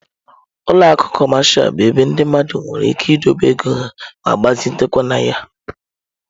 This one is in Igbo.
Ụlọ akụ cọmashal bụ ebe ndị mmadụ nwere ike idobe ego ha ma gbazitekwa na ya.